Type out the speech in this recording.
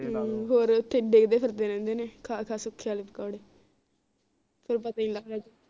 ਹਮ ਹੋਰ ਓਥੇ ਡਿਗਦੇ ਫਿਰਦੇ ਰਹਿੰਦੇ ਨੇ ਖਾ ਖਾ ਵਾਲੇ ਪਕੌੜੇ ਫਿਰ ਪਤਾ ਨੀ ਲਗਦਾ